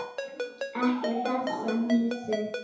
Ekki þessa hnýsni.